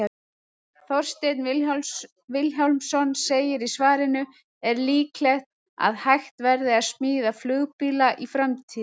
Þorsteinn Vilhjálmsson segir í svarinu Er líklegt að hægt verði að smíða flugbíla í framtíðinni?